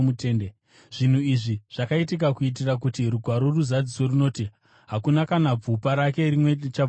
Zvinhu izvi zvakaitika kuitira kuti Rugwaro ruzadziswe runoti: “Hakuna kana bvupa rake rimwe richavhunwa,”